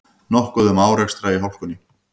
Nokkuð um árekstra í hálkunni